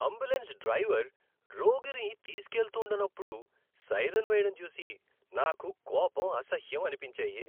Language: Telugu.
అంబులెన్స్ డ్రైవర్ రోగిని తీస్కెళ్తూండనప్పుడు సైరన్ వేయడం చూసి నాకు కోపం, అసహ్యం అనిపించాయి.